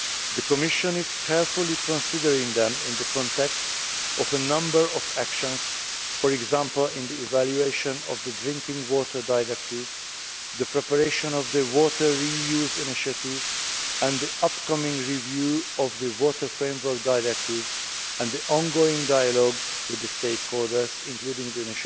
The Commission is carefully considering them in the context of a number of actions, for example in the evaluation of the Drinking Water Directive, the preparation of the Water Re use Initiative and the upcoming review of the Water Framework Directive, and the ongoing dialogue with the stakeholders including